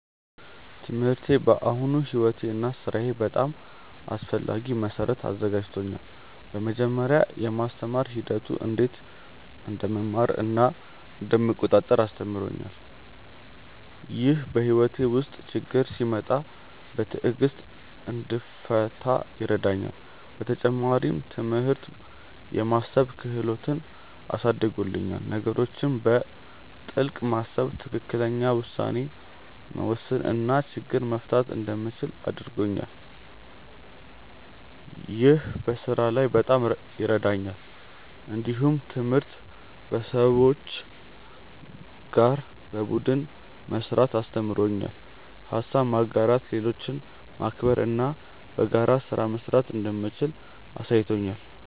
ትምህርቴ ለአሁኑ ሕይወቴ እና ሥራዬ በጣም አስፈላጊ መሠረት አዘጋጅቶኛል። በመጀመሪያ፣ የማስተማር ሂደቱ እንዴት እንደምማር እና እንደምቆጣጠር አስተምሮኛል። ይህ በሕይወቴ ውስጥ ችግኝ ሲመጣ በትዕግሥት እንድፈታ ይረዳኛል። በተጨማሪም፣ ትምህርት የማሰብ ክህሎትን አሳድጎልኛል። ነገሮችን በጥልቅ ማሰብ፣ ትክክለኛ ውሳኔ መውሰድ እና ችግኝ መፍታት እንደምችል አድርጎኛል። ይህ በስራ ላይ በጣም ይረዳኛል። እንዲሁም ትምህርት ከሰዎች ጋር በቡድን መስራትን አስተምሮኛል። ሀሳብ ማጋራት፣ ሌሎችን ማክበር እና በጋራ ስራ መስራት እንደምችል አሳይቶኛል።